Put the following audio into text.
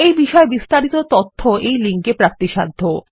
এই বিষয়ে বিস্তারিত তথ্য এই লিঙ্কে প্রাপ্তিসাধ্য